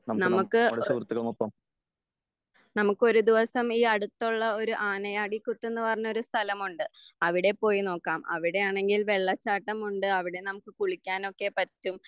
: നമക്ക് നമുക്കൊരു ദിവസം ഈ അടുത്തുള്ള ഒരു ആനയാടിക്കുത്തെന്ന് പറഞ്ഞ ഒരു സ്ഥലമുണ്ട്. അവിടെ പോയി നോക്കാം അവിടെയാണെങ്കിൽ വെള്ളച്ചാട്ടമുണ്ട്. അവിടെ നമുക്ക് കുളിക്കാനൊക്കെ പറ്റും.